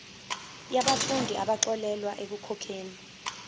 yabafundi abaxolelwa ekukhokheni